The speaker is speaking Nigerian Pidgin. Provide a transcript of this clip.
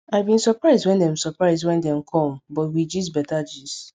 i bin surprise when dem surprise when dem com but we gist beta gist